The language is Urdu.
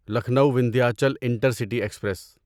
Lucknow Vindhyachal intercity express